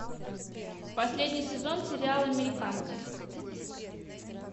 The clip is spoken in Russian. последний сезон сериал американцы